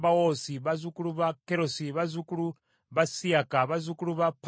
bazzukulu ba Kerosi, bazzukulu ba Siyaka, bazzukulu ba Padoni,